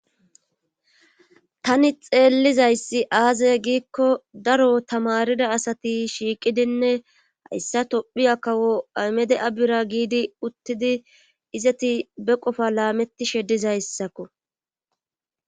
Tani xeellizayssi aazye giikko daro tamarida asati shiiqidinne hayssa tophiya kawo aymede'a bira giidi uttidi izati beqofa laametti shedizayssakko.